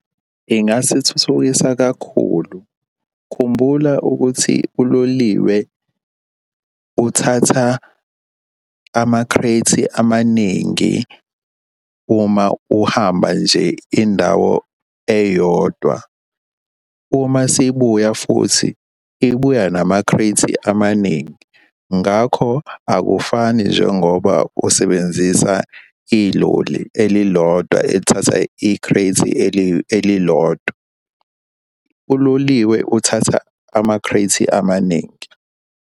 Ingasithuthukisa kakhulu, khumbula ukuthi uloliwe uthatha ama-crate amaningi uma uhamba nje indawo eyodwa. Uma sibuya futhi ibuya nama-crate amaningi. Ngakho akufani njengoba usebenzisa iloli elilodwa elithatha i-crate elilodwa. Uloliwe uthatha ama-crate amaningi.